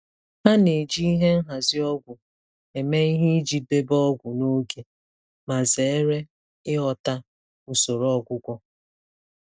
Ha na-eji ihe nhazi ọgwụ eme ihe iji debe ọgwụ n'oge ma zere ịghọta usoro ọgwụgwọ.